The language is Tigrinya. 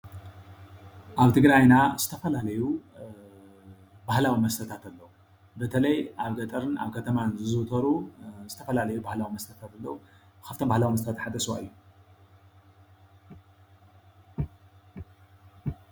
ኣብ ትግራይና ዝተፈላለዩ ባህላዊ መስተታት ኣለው። በተለይ ኣብ ገጠርን ኣብ ከተማን ዝዝውተሩ ዝተፈላለዩ ባህላዊ መስተታት ኣለው። ካብዚ ኣቶም ድማ ሓደ ስዋ እዩ።